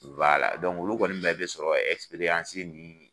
olu kɔni bɛɛ bɛ sɔrɔ nun